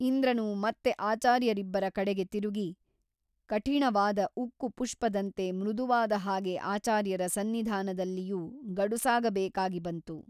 ಇಂದ್ರನು ಮತ್ತೆ ಆಚಾರ್ಯರಿಬ್ಬರ ಕಡೆಗೆ ತಿರುಗಿ ಕಠಿಣವಾದ ಉಕ್ಕು ಪುಷ್ಪದಂತೆ ಮೃದುವಾದ ಹಾಗೆ ಆಚಾರ್ಯರ ಸನ್ನಿಧಾನದಲಿಯೂ ಗಡುಸಾಗಬೇಕಾಗಿ ಬಂತು.